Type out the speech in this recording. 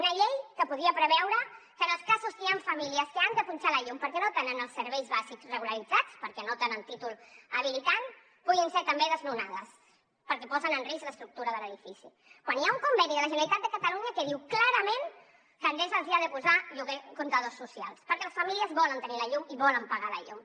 una llei que podria preveure que en els casos que hi han famílies que han de punxar la llum perquè no tenen els serveis bàsics regularitzats perquè no tenen títol habilitant puguin ser també desnonades perquè posen en risc l’estructura de l’edifici quan hi ha un conveni de la generalitat de catalunya que diu clarament que endesa els hi ha de posar comptadors socials perquè les famílies volen tenir la llum i volen pagar la llum